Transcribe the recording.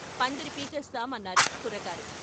"పందిరి పీకేస్తాం" అన్నారు కుర్రకారు.